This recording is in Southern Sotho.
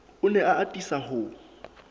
o ne a atisa ho